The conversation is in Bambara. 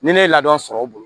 Ni ne ye ladon sɔrɔ o bolo